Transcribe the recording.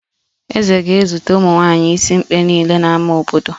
Eze ga-ezute ụmụnwaanyi isimkpe niile n'ámá obodo